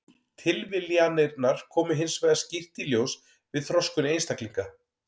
Tilviljanirnar koma hins vegar skýrt í ljós við þroskun einstaklinga.